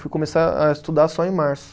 Fui começar a estudar só em março.